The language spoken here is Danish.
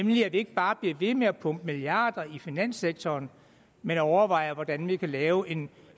vi ikke bare bliver ved med at pumpe milliarder i finanssektoren men overvejer hvordan vi kan lave en